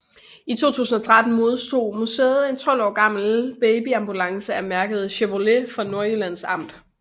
I 2013 modtog museet en 12 år gammel babyambulance af mærket Chevrolet fra Nordjyllands Amt